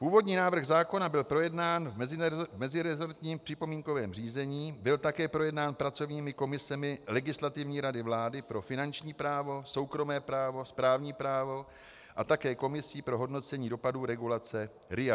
Původní návrh zákona byl projednán v meziresortním připomínkovém řízení, byl také projednán pracovními komisemi Legislativní rady vlády pro finanční právo, soukromé právo, správní právo a také komisí pro hodnocení dopadů regulace RIA.